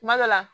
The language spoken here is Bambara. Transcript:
Kuma dɔ la